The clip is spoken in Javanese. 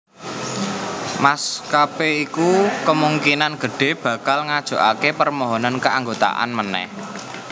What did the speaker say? Maskapé iki kemungkinan gedhé bakal ngajokaké permohonan keanggotaan manèh